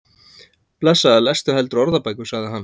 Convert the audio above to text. Blessaður lestu heldur orðabækur, sagði hann.